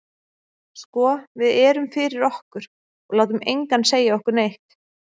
Sko við erum fyrir okkur, og látum engan segja okkur neitt.